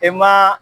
E maa